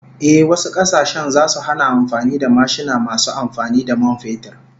Ehh, wasu kasashen zasu hana amfani da mashina masu amfani da man fetur